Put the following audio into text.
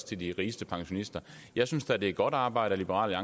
til de rigeste pensionister jeg synes da det er godt arbejde af liberal